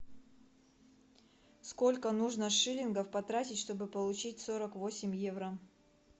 сколько нужно шиллингов потратить чтобы получить сорок восемь евро